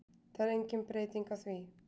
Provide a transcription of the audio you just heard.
Það er engin breyting á því